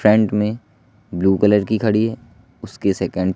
front में blue colour की घड़ी है उसके सेकंड --